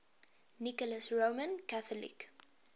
nicholas roman catholic